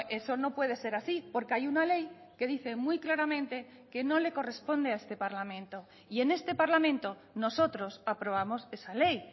eso no puede ser así porque hay una ley que dice muy claramente que no le corresponde a este parlamento y en este parlamento nosotros aprobamos esa ley